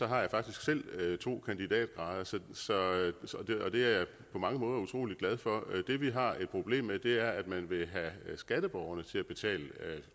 har jeg faktisk selv to kandidatgrader og det er jeg på mange måder utrolig glad for det vi har et problem med er at man vil have skatteborgerne til at betale